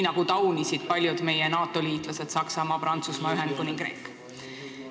Seda taunisid ka paljud meie NATO-liitlased: Saksamaa, Prantsusmaa, Ühendkuningriik.